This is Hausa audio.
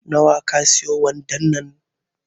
Na wa ka siye wandon nan